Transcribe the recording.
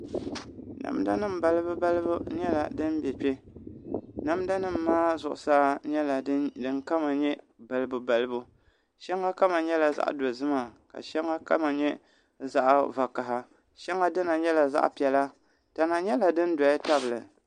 Namda nim balibu balibu nyɛla din bɛ kpɛ namda nim maa zuɣusaa nyɛla din kama nyɛ balibu balibu shɛŋa kama nyɛla zaɣ dozima ka shɛŋa kama nyɛ zaɣ vakaɣi shɛŋa dina nyɛla zaɣ piɛla tana nyɛla din doya tabili